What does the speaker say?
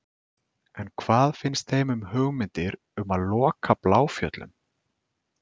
En hvað finnst þeim um hugmyndir um að loka Bláfjöllum?